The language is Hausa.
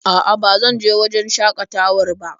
A'a ba zan je wajen shakatawar ba.